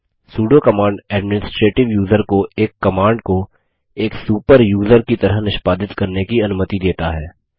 pseudo command administrative user को एक command को एक सुपर यूज़र की तरह निष्पादित करने की अनुमति देता है